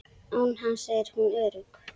Án hans er hún örugg.